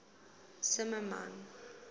zimmermann